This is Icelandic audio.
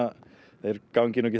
þeir gangi ekki